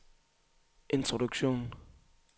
introduktion